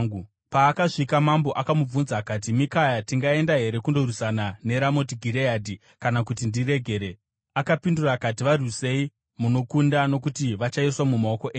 Paakasvika, mambo akamubvunza akati, “Mikaya, tingaenda here kundorwisana neRamoti Gireadhi kana kuti ndiregere?” Akapindura akati, “Varwisei munokunda nokuti vachaiswa mumaoko enyu.”